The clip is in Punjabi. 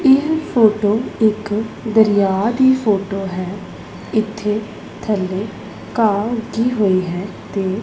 ਇਹ ਫੋਟੋ ਇਕ ਦਰਿਆ ਦੀ ਫੋਟੋ ਹੈ ਇਥੇ ਥੱਲੇ ਘਾਰ ਉੱਗੀ ਹੋਈ ਹੈ ਤੇ--